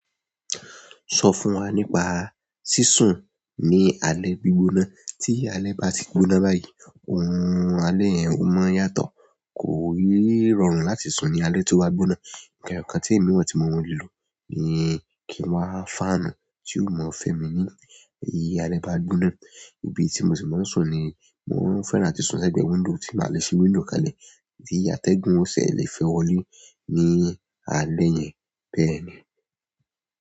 Sọ fún wa nípa sísun ní alẹ́ gbígbóná tí alẹ́ ba ti gbóná báyìí, orun un alẹ́ yẹn o maa n yàtọ̀, kò n rọrùn láti sùn ní alẹ́ tó bá gbóná. Nkan ẹyọ kan tí èmi mọ tí mo ń lò ni kí n wá fáànù tí yio mọ fẹ́ mi ní bi alẹ́ bá gbóná. Ibi tí mo sì máa ń sùn ni mo ń fẹ́ràn atí sùn lẹgbẹ wíńdò tí màá le ṣi wíńdò kalẹ̀, ti atẹ́gùn ò fi le fẹ́ wọlé ní alẹ́ yẹn bẹ́ẹ̀ ni.